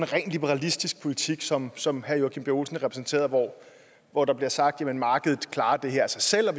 ren liberalistisk politik som som herre joachim b olsen repræsenterer hvor hvor der bliver sagt at markedet klarer det her af sig selv og